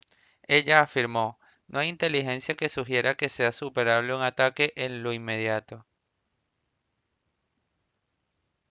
ella afirmó: «no hay inteligencia que sugiera que sea esperable un ataque en lo inmediato